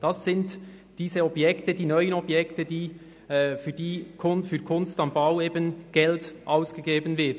Dies sind die neuen Objekte, für welche im Rahmen von «Kunst am Bau» Geld ausgegeben wird.